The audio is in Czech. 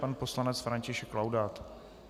Pan poslanec František Laudát.